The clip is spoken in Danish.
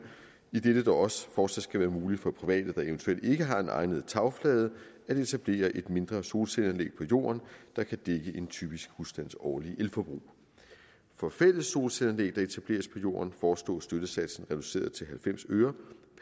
idet det dog også fortsat skal være muligt for private der eventuelt ikke har en egnet tagflade at etablere et mindre solcelleanlæg på jorden der kan dække en typisk husstands årlige elforbrug for fælles solcelleanlæg der etableres på jorden foreslås støttesatsen reduceret til halvfems øre